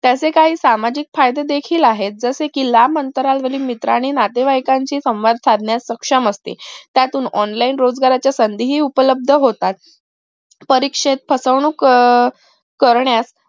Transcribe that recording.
त्याचे काही सामाजिक फायदे देखील आहेत जसे कि लांब अंतरावरील मित्र आणि नातेवाईक शी संवाद साधण्यास सक्षम असते त्यातून online रोजगाराच्या संधी उपलब्द होतात परीक्षेस फसवणूक अह करण्यास